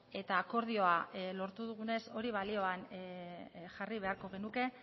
eta akordioa lortu dugunez hori balioan jarri beharko genuke